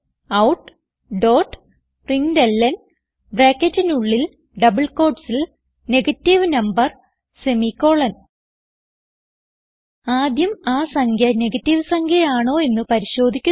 systemoutപ്രിന്റ്ലൻ ബ്രാക്കറ്റിനുള്ളിൽ ഡബിൾ quotesൽ negative number ആദ്യം ആ സംഖ്യ നെഗറ്റീവ് സംഖ്യ ആണോ എന്ന് പരിശോധിക്കുന്നു